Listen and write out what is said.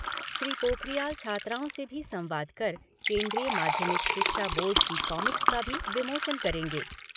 श्री पोखरियाल छात्राओं से भी संवाद कर केन्द्रीय माध्यमिक शिक्षा बोर्ड की कॉमिक्स का भी विमोचन करेगें।